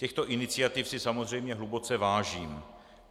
Těchto iniciativ si samozřejmě hluboce vážím.